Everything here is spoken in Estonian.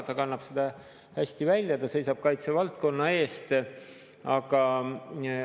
Ta kannab seda hästi välja, ta seisab kaitsevaldkonna eest.